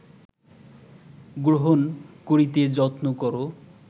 গ্রহণ করিতে যত্ন কর